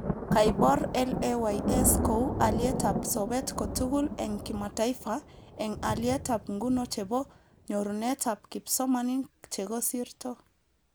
Kaibor LAYS kou alietab sobet kotugul eng kimataifa eng alitab nguno chebo nyorunetab kipsomanink chekosirto